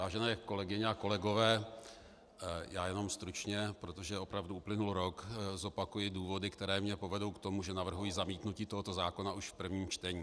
Vážené kolegyně a kolegové, já jenom stručně, protože opravdu uplynul rok, zopakuji důvody, které mě povedou k tomu, že navrhuji zamítnutí tohoto zákona už v prvním čtení.